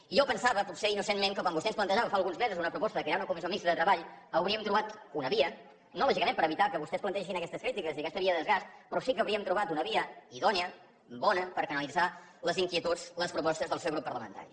i jo pensava potser innocentment que quan vostè ens plantejava fa alguns mesos una proposta de crear una comissió mixta de treball hauríem trobat una via no lògicament per evitar que vostès plantegessin aquestes crítiques i aquesta via de desgast però sí que hauríem trobat una via idònia bona per canalitzar les inquietuds les propostes del seu grup parlamentari